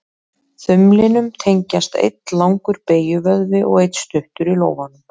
Þumlinum tengjast einn langur beygjuvöðvi og einn stuttur í lófanum.